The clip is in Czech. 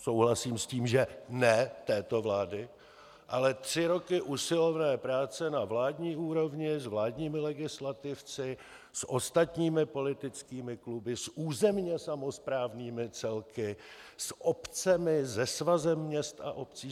Souhlasím s tím, že ne této vlády, ale tři roky usilovné práce na vládní úrovni, s vládními legislativci, s ostatními politickými kluby, s územně samosprávnými celky, s obcemi, se Svazem měst a obcí.